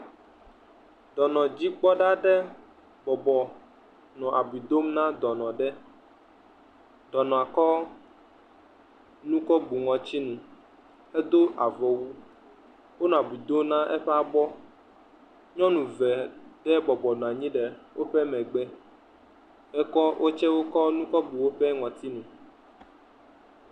Dɔnɔdzikpɔɖa aɖe bɔbɔ nɔ abui dom na dɔnɔ ɖe. Dɔnɔa kɔ nu kɔ bu ŋɔtsinu. Edo avɔwu. Wonɔ abui dom na eƒe abɔ. Nyɔnu ve ɖe bɔbɔ nɔ anyi ɖe woƒe megbe. Ekɔ, wo tsɛ kɔ nu kɔbu woƒe ŋɔtsinu.